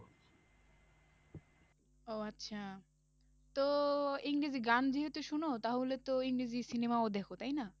ও আচ্ছা তো ইংরেজি গান যেহেতু শোনো তাহলে তো ইংরেজি cinema ও দেখো তাই না?